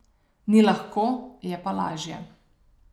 Ni lahko, je pa lažje.